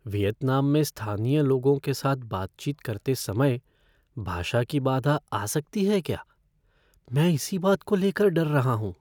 Vietnam में स्थानीय लोगों के साथ बातचीत करते समय भाषा की बाधा आ सकती है क्या? मैं इसी बात को लेकर डर रहा हूँ।